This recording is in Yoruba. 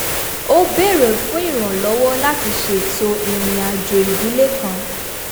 ó béèrè fún ìrànlọ́wọ́ láti ṣètò ìrìn àjò ìdílé kan